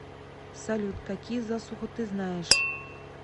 салют какие засуха ты знаешь